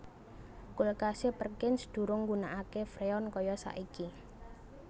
Kulkase Perkins durung nggunakake Freon kaya saiki